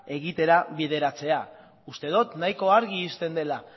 egitera bideratzera uste dot nahiko argi uzten dela